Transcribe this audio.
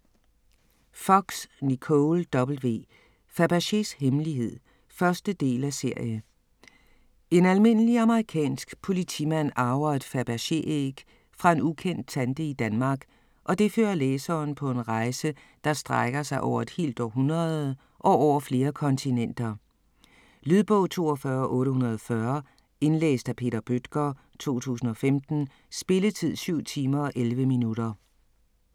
Fox, Nicole W.: Fabergés hemmelighed 1. del af serie. En almindelig amerikansk politimand arver et Fabergé æg fra en ukendt tante i Danmark og det fører læseren på en rejse, der strækker sig over et helt århundrede og over flere kontinenter. Lydbog 42840 Indlæst af Peter Bøttger, 2015. Spilletid: 7 timer, 11 minutter.